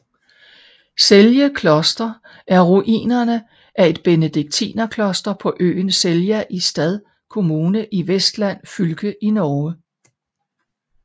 Selje Kloster er ruinerne af et benediktinerkloster på øen Selja i Stad kommune i Vestland fylke i Norge